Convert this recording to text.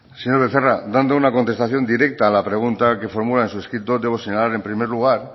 zurea da hitza señor becerra dando una contestación directa a la pregunta que formula en su escrito debo señalar en primer lugar